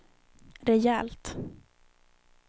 rejält